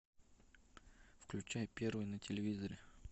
включай первый на телевизоре